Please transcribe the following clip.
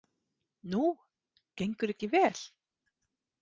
Nú, gengur ekki vel?